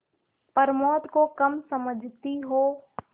प्रमोद को कम समझती हो